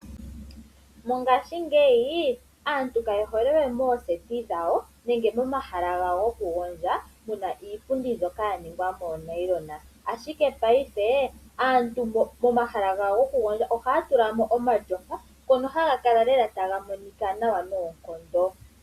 Mongashingeyi aantu kaye hole we mookombitha dhawo nenge momahala gawo gokugondja muna iipundi mbyoka yaningwa moonayilona, ashike mopayife aantu momahala gawo gokugondja ohaya tulamo iipundi yopashinanena mbyoka hayi kala tayimonika nawa noonkondo.